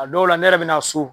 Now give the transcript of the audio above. A dɔw la ne yɛrɛ bina so